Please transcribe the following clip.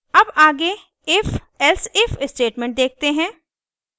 अब आगे ifelsif statement देखते हैं